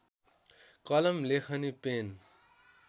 कलम लेखनी पेन